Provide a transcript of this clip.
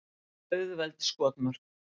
Auðveld skotmörk.